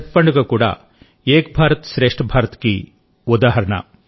ఛత్ పండుగ కూడా ఏక్ భారత్ శ్రేష్ఠ్ భారత్కి ఉదాహరణ